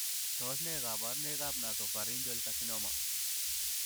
Tos nee koborunoikab Nasopharyngeal carcinoma?